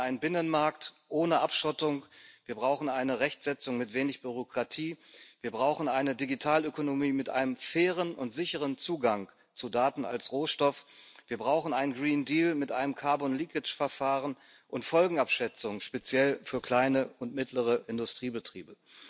Wir brauchen einen Binnenmarkt ohne Abschottung, wir brauchen eine Rechtsetzung mit wenig Bürokratie, wir brauchen eine Digitalökonomie mit einem fairen und sicheren Zugang zu Daten als Rohstoff, wir brauchen einen Green Deal mit einem Carbon Leakage Verfahren und Folgenabschätzungen, speziell für kleine und mittlere Industriebetriebe.